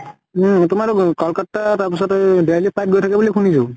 উম। তোমাৰ টো কলকাত্তা, তাৰ পিছতে এই delhi ৰ flight গৈ থাকে বুলি শুনিছো।